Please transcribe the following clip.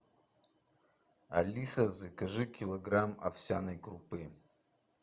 алиса закажи килограмм овсяной крупы